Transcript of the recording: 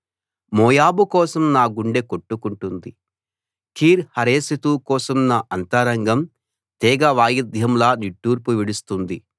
మోయాబు కోసం నా గుండె కొట్టుకుంటోంది కీర్ హరెశెతు కోసం నా అంతరంగం తీగవాయిద్యంలా నిట్టూర్పు విడుస్తోంది